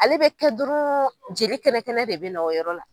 Ale bɛ kɛ dɔrɔn jeli kɛnɛ kɛnɛ de bɛ na o yɔrɔ la.